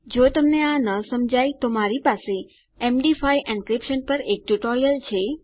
જો તમને આ ન સમજાય તો મારી પાસે એમડી5 એન્ક્રિપ્શન પર એક ટ્યુટોરીયલ છે